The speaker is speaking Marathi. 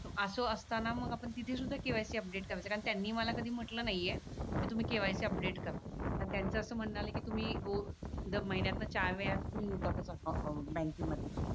असो असताना मग आपण तिथे सुद्धा KYC अपडेट करायचं कारण त्यांनी मला कधी म्हटलं नाहीये की तुम्ही KYC अपडेट करा आणि त्यांच्याशी म्हणाले की तुम्ही हो तुम्ही दर म्हीन्यातन चार वेळा येतातच अं अं बँकेमध्ये